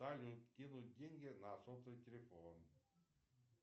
салют кинуть деньги на сотовый телефон